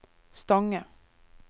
Stange